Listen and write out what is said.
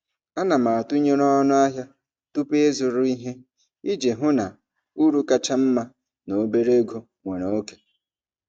Ana m atụnyere ọnụ ahịa tupu ịzụrụ ihe iji hụ na uru kacha mma na obere ego nwere oke.